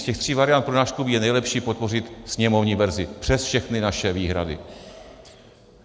Z těch tří variant pro náš klub je nejlepší podpořit sněmovní verzi - přes všechny naše výhrady.